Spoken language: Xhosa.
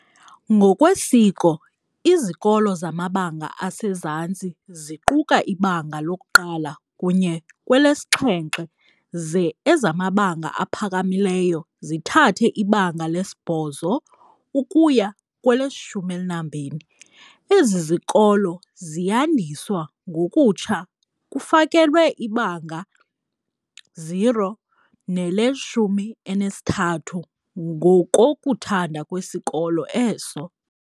Ngokwesiko, izikolo zamabanga asezantsi ziquka iBanga loku-1 kunye kwelesi-7 ze ezamabanga aphakamileyo zithathe iBanga lesi-8 ukuya kwele-12. Ezi zikolo ziyandiswa ngokutsha kufakelwe ibanga 0 nele-13 ngokokuthanda kwesikolo eso.